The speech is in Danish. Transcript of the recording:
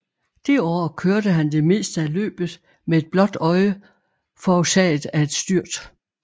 Det år kørte han det meste af løbet med et blåt øje forårsaget af et styrt